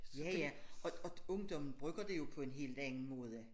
Ja ja og og ungdommen bruger det jo på en helt anden måde